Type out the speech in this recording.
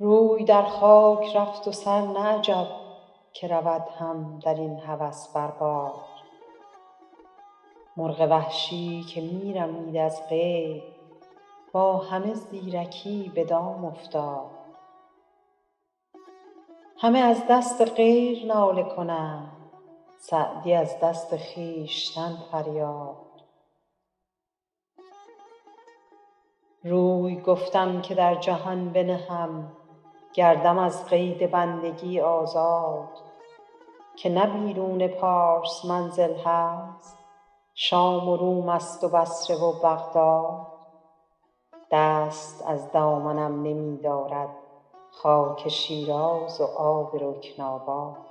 روی در خاک رفت و سر نه عجب که رود هم در این هوس بر باد مرغ وحشی که می رمید از قید با همه زیرکی به دام افتاد همه از دست غیر ناله کنند سعدی از دست خویشتن فریاد روی گفتم که در جهان بنهم گردم از قید بندگی آزاد که نه بیرون پارس منزل هست شام و روم ست و بصره و بغداد دست از دامنم نمی دارد خاک شیراز و آب رکن آباد